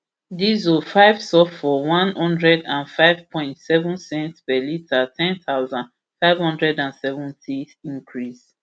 diesel five sulphur one hundred and five point seven cents per litre ten thousand, five hundred and seventy cl increase